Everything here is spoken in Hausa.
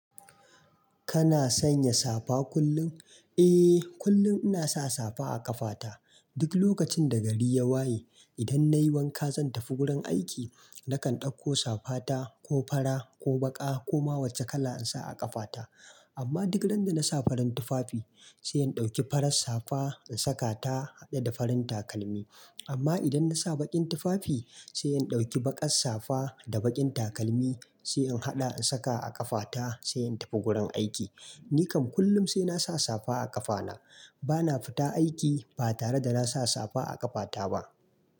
Kana sanya safa kullum? Eh, kullum ina sa safa a ƙafata. Duk lokacin da gari ya waye, idan nayi wanka zan tafi gurin aiki nakan ɗauko safa ta ko fara ko baƙa ko ma wacce kala in sa a ƙafata. Amma duk ran da nasa farin tufafi sai in ɗauki farar safa in saka ta haɗe da farin takalmi. Amma idan nasa baƙin tufafi sai in ɗauki baƙar safa da baƙin takalmi sai in haɗa in saka a ƙafata sai in tafi gurin aiki. Ni kam kullum sai nasa safa a ƙafana. Bana fita aiki ba tare da nasa safa a ƙafata ba.